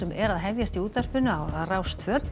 er að hefjast á Rás tvö